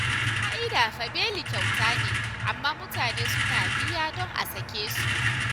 A ƙa'ida fa beli kyauta ne, amma mutane suna biya don a sake su